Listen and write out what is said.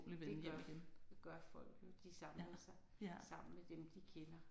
Det gør det gør folk jo de samler sig sammen med dem de kender